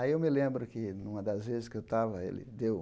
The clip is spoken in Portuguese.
Aí eu me lembro que, numa das vezes que eu estava, ele deu